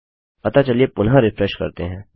अतः चलिए पुनः रिफ्रेश करते हैं